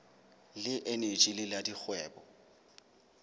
le eneji le la dikgwebo